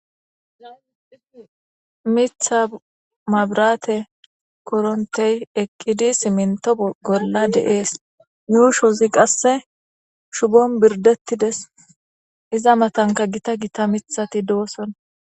Mitha mabrate korontey ekkidi siminto golla deees yuushozi qasse shubon birdettides iza matanka gita gita mithati doossona.